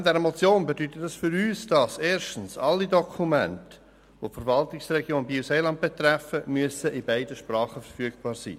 Betreffend diese Motion bedeutet dies für uns, dass erstens alle Dokumente, die die Verwaltungsregion BielSeeland betreffen, in beiden Sprachen verfügbar sein müssen.